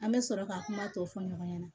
An bɛ sɔrɔ ka kuma tɔ fɔ ɲɔgɔn ɲɛna